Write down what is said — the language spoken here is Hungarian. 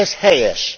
Ez helyes!